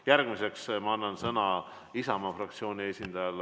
Järgmiseks ma annan sõna Isamaa fraktsiooni esindajale.